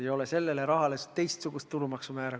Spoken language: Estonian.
Ei ole sellele rahale kehtestatud teistsugust tulumaksumäära.